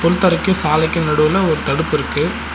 புல் தரைக்கூ சாலைக்கூ நடுவுல ஒரு தடுப்பு இருக்கு.